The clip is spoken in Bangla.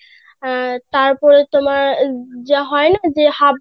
তারপরে তোমার যা হয় না যে